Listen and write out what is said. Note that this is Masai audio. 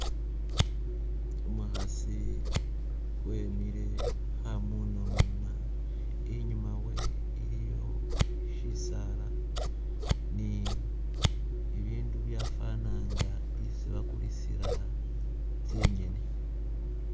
Umukhasi wemile khamunamuna, inyuma wewe iliyo shisaala ni bibindu byafwana nga isi bakulisila tsi'nyeni.